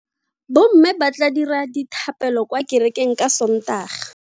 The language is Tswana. Bomme ba tla dira dithapelo kwa kerekeng ka Sontaga.